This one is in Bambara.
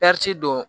don